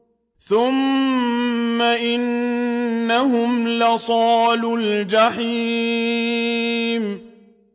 ثُمَّ إِنَّهُمْ لَصَالُو الْجَحِيمِ